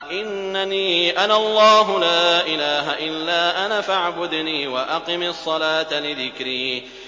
إِنَّنِي أَنَا اللَّهُ لَا إِلَٰهَ إِلَّا أَنَا فَاعْبُدْنِي وَأَقِمِ الصَّلَاةَ لِذِكْرِي